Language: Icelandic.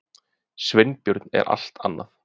Sveinbjörn er allt annað.